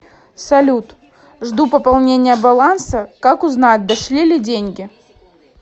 салют жду пополнения баланса как узнать дошли ли деньги